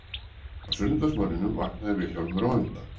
Á sunnudagsmorgninum vaknaði Vilhjálmur á undan